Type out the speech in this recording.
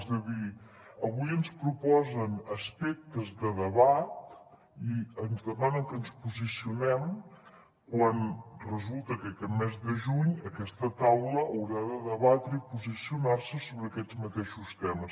és a dir avui ens proposen aspectes de debat i ens demanen que ens posicionem quan resulta que aquest mes de juny aquesta taula haurà de debatre i posicionar se sobre aquests mateixos temes